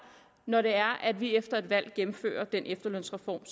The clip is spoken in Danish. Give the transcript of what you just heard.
når det er at vi efter et valg gennemfører den efterlønsreform